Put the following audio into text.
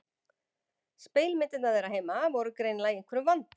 Spegilmyndirnar þeirra heima voru greinilega í einhverjum vanda.